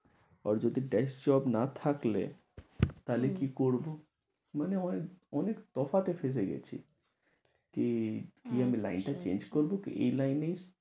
আর যদি best job না থাকলে, থালে কি করব মনে হয় অনেক তফাতে ফেঁসে গেছি। কি আমি লাইন টা change করব কি, এই লাইনে আমি